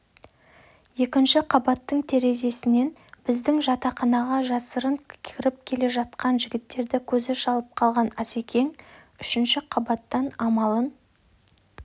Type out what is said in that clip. екінші қабаттың терезесіннен біздің жатақханаға жасырын кіріп жатқан жігіттерді көзі шалып қалған асекең үшінші қабаттан амалын